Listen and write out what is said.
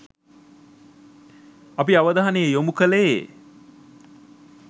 අපි අවධානය යොමු කළේ